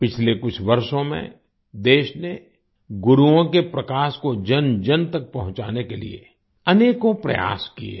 पिछले कुछ वर्षों में देश ने गुरुओं के प्रकाश को जनजन तक पहुँचाने के लिए अनेकों प्रयास किए हैं